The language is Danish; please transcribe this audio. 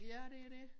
Ja det dét